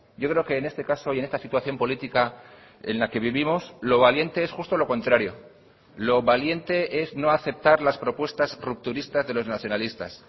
yo creo que en este caso y en esta situación política en la que vivimos lo valiente es justo lo contrario lo valiente es no aceptar las propuestas rupturistas de los nacionalistas